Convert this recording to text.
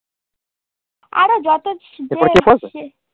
আর ও যত